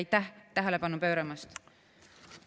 Aitäh tähelepanu pööramast!